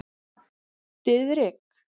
Diðrik